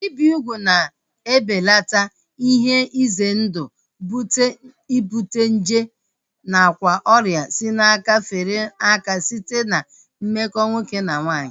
Ibi ugwu na-ebelata ihe ize ndụ ibute nje nakwa ọrịa si n'aka fere aka site na mmekọ nwoke na nwaanyị